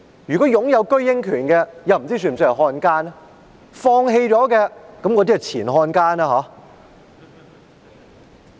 如果他擁有居英權，不知他是否算是漢奸？